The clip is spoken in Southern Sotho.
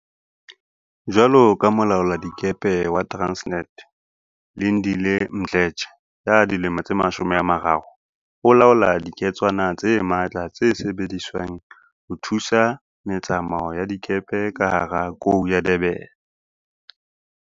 Jwaloka molaoladikepe wa Transnet, Lindile Mdletshe, ya dilemo tse 30, o laola diketswana tse matla tse sebediswang ho thusa me tsamao ya dikepe ka hara Kou ya Durban.